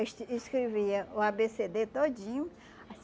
escrevia o á bê cê dê todinho.